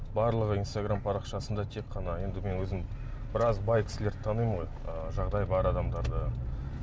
барлығы инстаграм парақшасында тек қана енді мен өзім біраз бай кісілерді танимын ғой ы жағдайы бар адамдарды